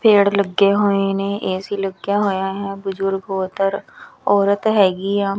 ਪੇੜ ਲੱਗੇ ਹੋਏ ਨੇ ਏ_ਸੀ ਲੱਗਿਆ ਹੋਇਆ ਹੈ ਬਜ਼ੁਰਗ ਉਧਰ ਔਰਤ ਹੈਗੀ ਆ।